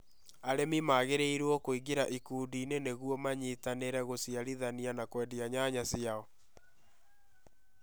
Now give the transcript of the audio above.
Arĩmi magĩrĩirũo kũingira ikundi-inĩ nĩguo manyitanĩre gũciarithania na kũendia nyanya ciao.